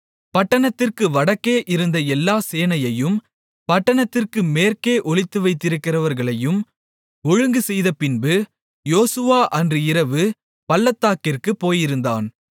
பட்டணத்திற்கு வடக்கே இருந்த எல்லா சேனையையும் பட்டணத்திற்கு மேற்கே ஒளிந்திருக்கிறவர்களையும் ஒழுங்குசெய்தபின்பு யோசுவா அன்று இரவு பள்ளத்தாக்கிற்குப் போயிருந்தான்